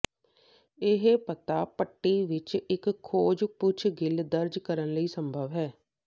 ਇਹ ਪਤਾ ਪੱਟੀ ਵਿੱਚ ਇੱਕ ਖੋਜ ਪੁੱਛਗਿੱਛ ਦਰਜ ਕਰਨ ਲਈ ਸੰਭਵ ਹੈ